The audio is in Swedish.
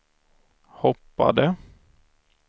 hoppade